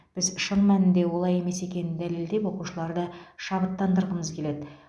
біз шын мәнінде олай емес екенін дәлелдеп оқушыларды шабыттандырғымыз келеді